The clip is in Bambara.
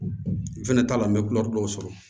N fɛnɛ t'a la n bɛ dɔw sɔrɔ